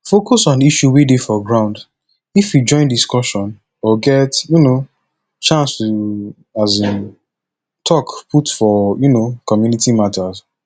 focus on issue wey dey for ground if you join discussion or get um chance to um talk put for um community matter